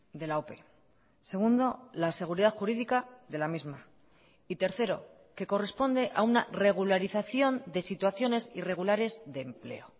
de la ope segundo la seguridad jurídica de la misma y tercero que corresponde a una regularización de situaciones irregulares de empleo